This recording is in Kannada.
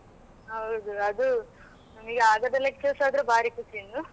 ಹೌದು ಅದು ನಮಗೆ ಆಗದ lectures ಆದ್ರೆ ಭಾರಿ ಖುಷಿ ಇನ್ನು.